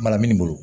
Mara minnu bolo